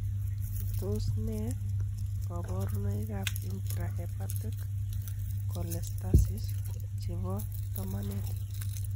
Tos nee loborunoikab Intrahepatic cholestasis chebo tomonet?